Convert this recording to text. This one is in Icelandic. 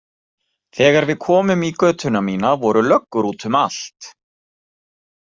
Þegar við komum í götuna mína voru löggur út um allt.